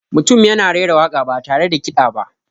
Mutum yana raira waka ba tare da kiɗa ba.